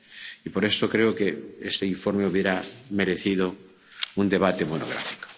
Y por eso creo que este informe hubiera merecido un debate monográfico.